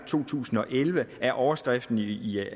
to tusind og elleve er overskriften i i